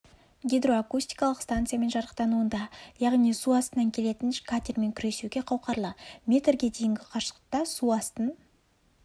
гидроакустикалық станциямен жарақтануында яғни су астынан келетін қатермен күресуге қауқарлы метрге дейінгі қашықтықта су астын